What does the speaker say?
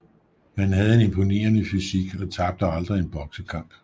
Han havde en imponerende fysik og tabte aldrig en boksekamp